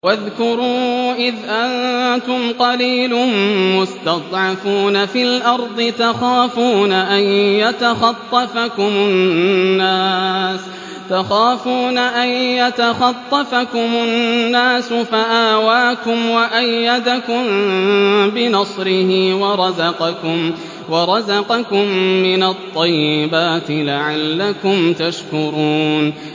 وَاذْكُرُوا إِذْ أَنتُمْ قَلِيلٌ مُّسْتَضْعَفُونَ فِي الْأَرْضِ تَخَافُونَ أَن يَتَخَطَّفَكُمُ النَّاسُ فَآوَاكُمْ وَأَيَّدَكُم بِنَصْرِهِ وَرَزَقَكُم مِّنَ الطَّيِّبَاتِ لَعَلَّكُمْ تَشْكُرُونَ